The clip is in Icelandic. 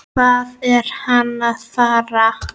Hvað er hann að fara?